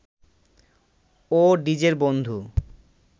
ও ডিজের বন্ধু